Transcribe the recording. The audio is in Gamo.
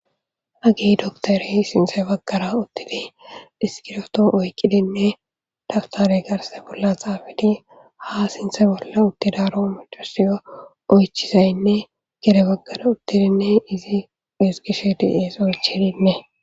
Hagi doktori sinse baggara uttidi diskiroto oykqidinne daftare garse bolla xaafeti ha sinse bolla uttidaro macosia oychizaynne gere baggara uttidinne izi esgishe diees oychininne.